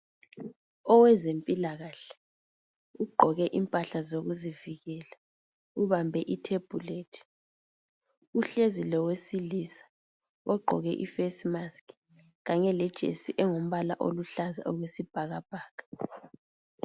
Owezempilakahle ugqoke impahla zokuzivikela ubambe ithebhulethi, uhlezi lowesilisa ogqoke iface mask kanye lejesi engumbala oluhlaza okwesibhakabhaka.